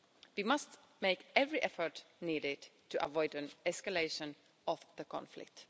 We must make every effort needed to avoid an escalation of the conflict.